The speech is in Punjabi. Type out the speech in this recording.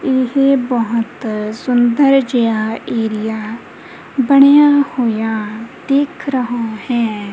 ਇਹ ਬਹੁਤ ਸੁੰਦਰ ਜਿਹਾ ਏਰੀਆ ਬਣਿਆ ਹੋਇਆ ਦਿਖ ਰਹਾ ਹੈ।